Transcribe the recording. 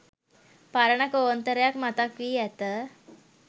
පරණ කෝන්තරයක් මතක් වී ඇත.